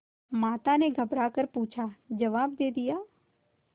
माता ने घबरा कर पूछाजवाब दे दिया